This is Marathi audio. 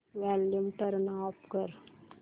वॉल्यूम टर्न ऑफ कर